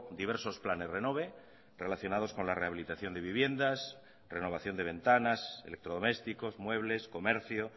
diversos planes renove relacionados con la rehabilitación de viviendas renovación de ventanas electrodomésticos muebles comercio